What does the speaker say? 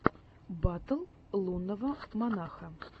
батл лунного монаха